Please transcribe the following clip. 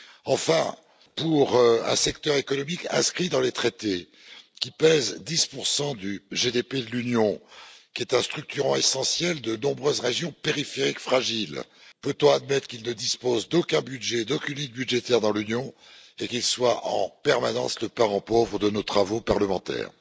Enfin, pour un secteur économique inscrit dans les traités qui pèse 10 du produit intérieur brut de l'Union, qui est un structurant essentiel de nombreuses régions périphériques fragiles, peut on admettre qu'il ne dispose d'aucun budget, d'aucune ligne budgétaire dans l'Union et qu'il soit en permanence le parent pauvre de nos travaux parlementaires?